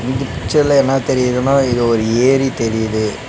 இந்த பிச்சர்ல என்னா தெரியிதுனா இது ஒரு ஏரி தெரியிது.